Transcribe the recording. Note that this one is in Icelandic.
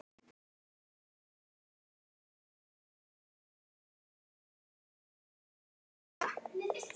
Afi brosir líka.